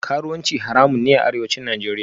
Karuwanci haramun ne a Arewacin Najeriya